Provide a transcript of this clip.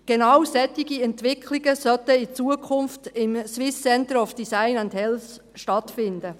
Genau solche Entwicklungen sollen im SCDH stattfinden.